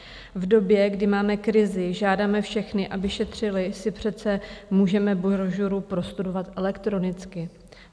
V době, kdy máme krizi, žádáme všechny, aby šetřili, si přece můžeme brožuru prostudovat elektronicky.